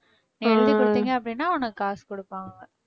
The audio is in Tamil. எழுதி கொடுத்தீங்க அப்படின்னா உனக்கு காசு குடுப்பாங்க